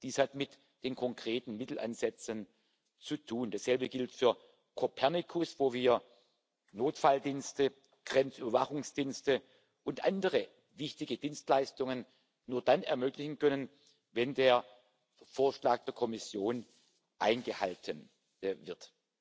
Dies hat mit den konkreten Mittelansätzen zu tun. Dasselbe gilt für Copernicus, wo wir Notfalldienste, Grenzüberwachungsdienste und andere wichtige Dienstleistungen nur dann ermöglichen können, wenn der Vorschlag der Kommission eingehalten